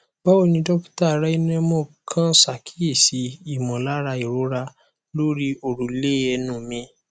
báwo ni dókítà rynnemo kàn ṣàkíyèsí ìmọlára ìrora lórí òrùlé ẹnu mi